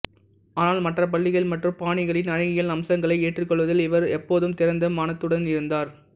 ஆனால் மற்ற பள்ளிகள் மற்றும் பாணிகளின் அழகியல் அம்சங்களை ஏற்றுக்கொள்வதில் இவர் எப்போதும் திறந்த மனதுடன் இருந்தார்